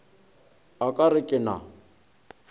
a ka re ke na